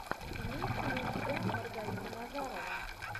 имеется ли у тебя маргарита назарова